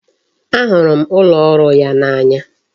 A hụrụ m ụlọ ọrụ ya n'anya